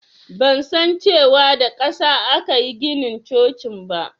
Ban san cewa da ƙasa akayi ginin cocin ba